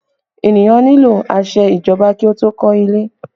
Ènìyàn nílò àṣẹ ìjọba kí ó tó kọ́ ilé